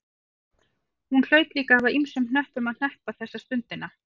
Hún hlaut líka að hafa ýmsum hnöppum að hneppa þessa stundina.